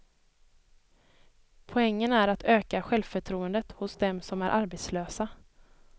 Poängen är att öka självförtroendet hos dem som är arbetslösa.